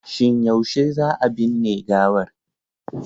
Shin yaushe za a binne gawar?